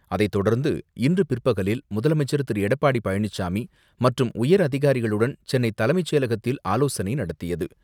அதைத்தொடர்ந்து இன்று பிற்பகலில் முதலமைச்சர் திரு எடப்பாடி பழனிசாமி மற்றும் உயரதிகாரிகளுடன் சென்னை தலைமைச்செயலகத்தில் ஆலோசனை நடத்தியது.